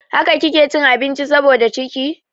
Haka kike cin abinci saboda da ciki?